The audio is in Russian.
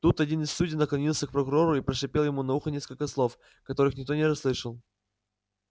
тут один из судей наклонился к прокурору и прошипел ему на ухо несколько слов которых никто не расслышал